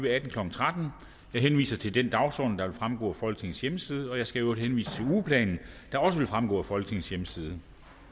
atten klokken tretten jeg henviser til den dagsorden der vil fremgå af folketingets hjemmeside jeg skal i øvrigt henvise til ugeplanen der også vil fremgå af folketingets hjemmeside